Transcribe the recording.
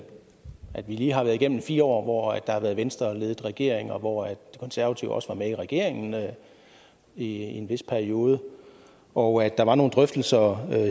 at vi lige har været igennem fire år hvor der har været venstreledede regeringer hvor de konservative også var med i regeringen i en vis periode og at der var nogle drøftelser